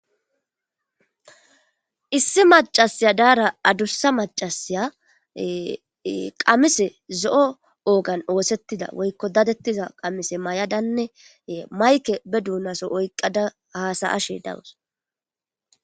Issi macasiya daara adursa macasiya qamise zo'o oogan oosettida woykko dadettiza qamise may'adanne mayke be duunaso oyqqada hasayashe dawus.